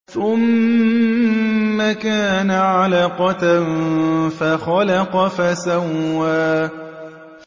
ثُمَّ كَانَ عَلَقَةً فَخَلَقَ فَسَوَّىٰ